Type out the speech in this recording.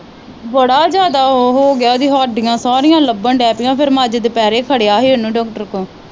ਬੜਾ ਜਿਆਦਾ ਉਹ ਹੋਗਿਆ ਉਹ ਦੀਆ ਹੱਡੀਆਂ ਸਾਰੀਆਂ ਲੱਭਣ ਦੇ ਪੀਆ ਫਿਰ ਮੈ ਅੱਜ ਦੁਪਹਿਰੇ ਖੜਿਆ ਹੀ ਓਹਨੂੰ ਡਾਕਟਰ ਕੋ।